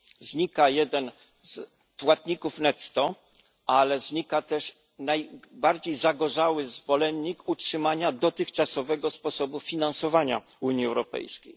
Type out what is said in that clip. Znika jeden z płatników netto, ale znika też najbardziej zagorzały zwolennik utrzymania dotychczasowego sposobu finansowania Unii Europejskiej.